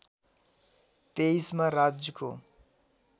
२३ मा राजको